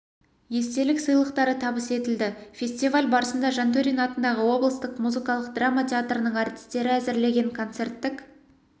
естелік сыйлықтары табыс етілді фестиваль барысында жантөрин атындағы облыстық музыкалық драма театрының әртістері әзірлеген концерттік